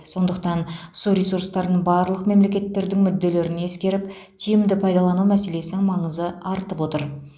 сондықтан су ресурстарын барлық мемлекеттердің мүдделерін ескеріп тиімді пайдалану мәселесінің маңызы артып отыр